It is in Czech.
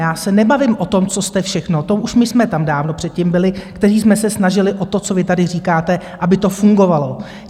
Já se nebavím o tom, co jste všechno - to už my jsme tam dávno předtím byli, kteří jsme se snažili o to, co vy tady říkáte, aby to fungovalo.